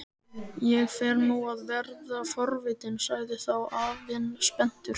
Ég fer nú að verða forvitinn sagði þá afinn spenntur.